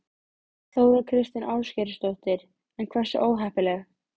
Þóra Kristín Ásgeirsdóttir: En hversu óheppileg?